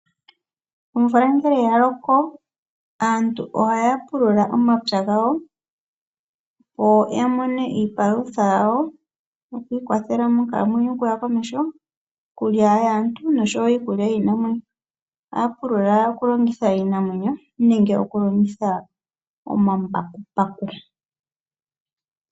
Omvula ngele ya loko aantu ohaya pulula omapya gawo opo ya mone iipalutha yawo yokwiikwathela monkalamwenyo okuya komeho, iikulya yaantu, osho wo iikulya yiinamwenyo. Ohaya pulula okulongitha iinamwenyo nenge okulongitha omambakumbaku.